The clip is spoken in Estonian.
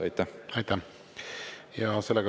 Aitäh!